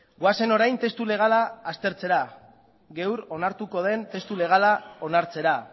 goazen orain testu legala aztertzera gaur onartuko den testu legala onartzera